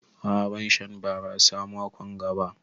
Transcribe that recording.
A'a ban Sha barasa mako'n ga ba.